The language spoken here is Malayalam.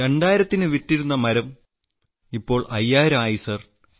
2000ന് വിറ്റിരുന്ന മരത്തിന് ഇപ്പോൾ 5000 ആയി സർ